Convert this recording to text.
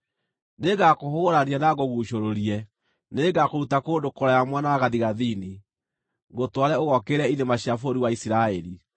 Nĩngakũhũgũrania na ngũguucũrũrie. Nĩngakũruta kũndũ kũraya mwena wa gathigathini, ngũtware ũgookĩrĩre irĩma cia bũrũri wa Isiraeli.